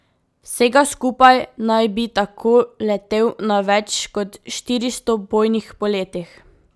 Vsega skupaj naj bi tako letel na več kot štiristo bojnih poletih.